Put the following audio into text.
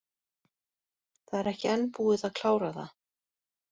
Það er ekki enn búið að klára það.